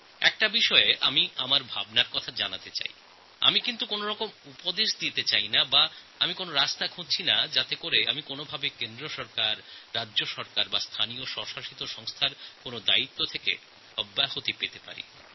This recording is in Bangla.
একটি ব্যাপারে আমি আমার চিন্তাভাবনা জানাতে চাই আমি কোন উপদেশ দিতে চাই না এটাও ভাববেন না যে আমি রাজ্যসরকার কেন্দ্র সরকার বা ছোটো ছোটো স্বশাসিত সংস্থার দায়িত্ব থেকে সরে যাওয়ার রাস্তা খুঁজছি